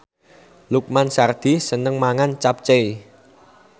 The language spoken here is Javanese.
Lukman Sardi seneng mangan capcay